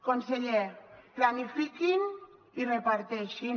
conseller planifiquin i reparteixin